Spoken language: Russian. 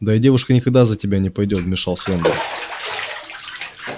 да и девушка никогда за тебя не пойдёт вмешался эндрю